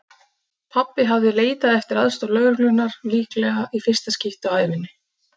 Pabbi hafði leitað eftir aðstoð lögreglunnar, líklega í fyrsta skipti á ævinni.